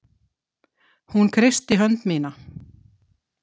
Hún kreistir hönd mína.